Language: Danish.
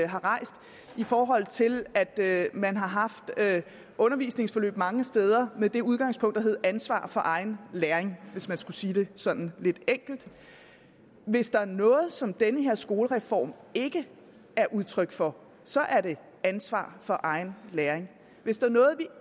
har rejst i forhold til at man har haft undervisningsforløb mange steder med det udgangspunkt der hed ansvar for egen læring hvis man skulle sige det sådan lidt enkelt hvis der er noget som den her skolereform ikke er udtryk for så er det ansvar for egen læring hvis der